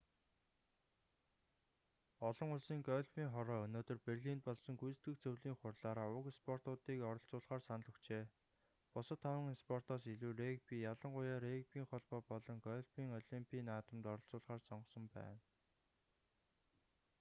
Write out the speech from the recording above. олон улсын олимпийн хороо өнөөдөр берлинд болсон гүйцэтгэх зөвлөлийн хурлаараа уг спортуудыг оруулахаар санал өгчээ бусад таван спортоос илүү регби ялангуяа регбийн холбоо болон гольфийг олимпийн наадамд оролцуулахаар сонгосон байна